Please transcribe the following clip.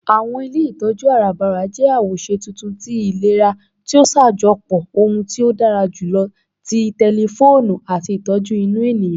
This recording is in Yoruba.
Àwọn ilé ìtọjú arabara jẹ́ awoṣe tuntun tí ìlera ti o ṣajọpọ ohun tí ó dára jùlọ ti tẹlifoonu àti ìtọjú inú ènìyàn.